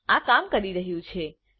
હા આ કામ કરી રહ્યું છે